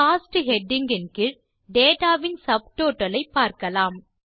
cost heading இன் கீழ் data வின் சப்டோட்டல் ஐ பார்க்கலாம்